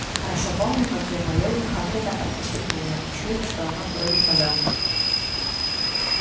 хорошо помню как я молил хагрида отпустить меня учуяв что оно бродит по замку